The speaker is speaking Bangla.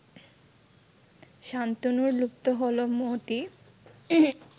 শান্তনুর লুপ্ত হলো মতি